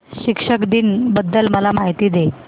शिक्षक दिन बद्दल मला माहिती दे